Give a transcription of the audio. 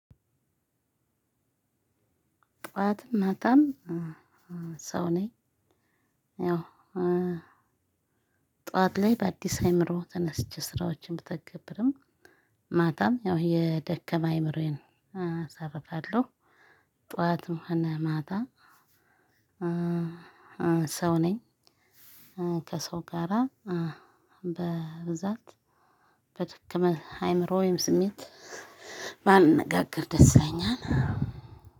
ጠዋትም ማታም ሰው ነኝ። ያው ጠዋት ላይ በአዲስ አእምሮ ተነስቼ ስራዎችን ብተገብርም ማታም ያው የደከመ አይምሮዬን አሳርፋለሁ። ጠዋትም ሆነ ማታ ሰው ነኝ። ከሰው ጋራ በብዛት በትክክል አይምሮ ወይም ስሜት። ማነጋገር ደስ ይለኛል።